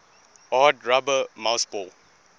hard rubber mouseball